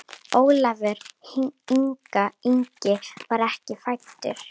Ólafur Ingi var ekki fæddur.